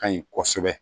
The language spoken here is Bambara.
Ka ɲi kosɛbɛ